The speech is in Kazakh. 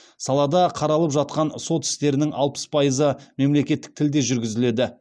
салада қаралып жатқан сот істерінің алпыс пайызы мемлекеттік тілде жүргізіледі